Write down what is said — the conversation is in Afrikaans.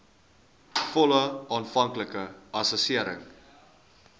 volle aanvanklike assessering